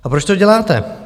A proč to děláte?